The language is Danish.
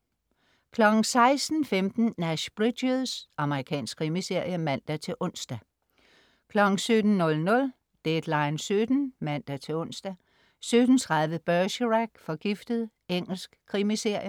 16.15 Nash Bridges. Amerikansk krimiserie (man-ons) 17.00 Deadline 17:00 (man-ons) 17.30 Bergerac: Forgiftet. Engelsk krimiserie. Engelsk krimiserie